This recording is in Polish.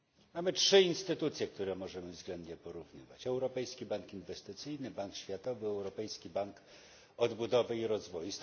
Mamy trzy instytucje, które możemy względnie porównywać Europejski Bank Inwestycyjny, Bank Światowy, Europejski Bank Odbudowy i Rozwoju.